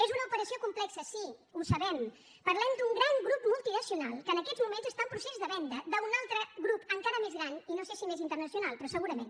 és una operació complexa sí ho sabem parlem d’un gran grup multinacional que en aquests moments està en procés de venda d’un altre grup encara més gran i no sé si més internacional però segurament